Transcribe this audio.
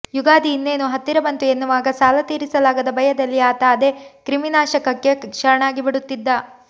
ಯುಗಾದಿ ಇನ್ನೇನು ಹತ್ತಿರ ಬಂತು ಎನ್ನುವಾಗ ಸಾಲ ತೀರಿಸಲಾಗದ ಭಯದಲ್ಲಿ ಆತ ಅದೇ ಕ್ರಿಮಿನಾಶಕಕ್ಕೆ ಶರಣಾಗಿಬಿಡುತ್ತಿದ್ದ